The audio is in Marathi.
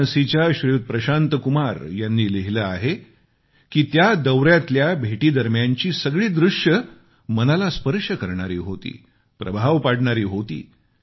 वाराणसीच्या श्रीयुत प्रशांत कुमार यांनी लिहीले आहे की त्या दौऱ्यातल्या भेटींची सगळी दृश्य मनाला स्पर्श करणारी होती प्रभाव पाडणारी होती